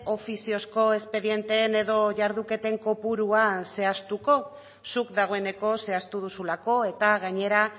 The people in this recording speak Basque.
ofiziozko espedienteen edo jarduketen kopurua zehaztuko zuk dagoeneko zehaztu duzulako eta gainera